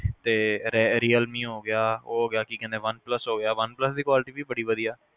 ਤੇ realme ਹੋਗਿਆ ਤੇ ਉਹ ਹੋਗਿਆ ਕੀ ਕਹਿੰਦੇ ਆ one plus ਹੋਗਿਆ one plus ਦੀ quality ਵੀ ਬੜੀ ਵਧੀਆ